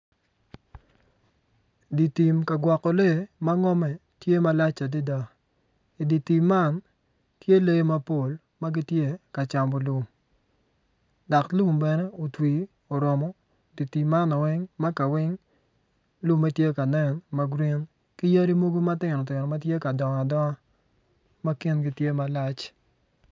Dye tim kagwoko lee ma ngome tye malac adada idye tim man tye lee mapol magitye ka camo lum dok lum man bene otwi orom dye tim man makaweng lume tye kanen ma grin ki yadi mogo matino tino ma gitye kadongo adonga ma kingi tye malac